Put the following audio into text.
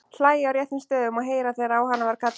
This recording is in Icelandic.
Hlæja á réttum stöðum og heyra þegar á hana var kallað.